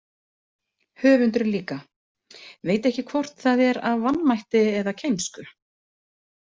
Höfundurinn líka, veit ekki hvort það er af vanmætti eða kænsku.